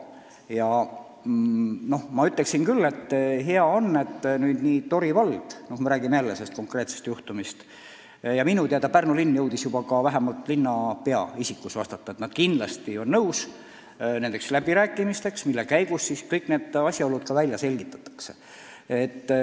On hea, et Tori vald – räägin jälle sellest konkreetsest juhtumist – ning minu teada ka Pärnu linn jõudis nüüd vähemalt linnapea isikus vastata, et nad kindlasti on nõus läbi rääkima ning selle käigus kõik need asjaolud välja selgitama.